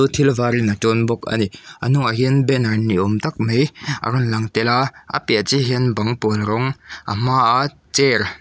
thil varin a tawn bawk a ni a hnungah hian banner ni awm tak mai a rawn lang tel a a piah chiahah hian bang pawl rawng a hmaa chair--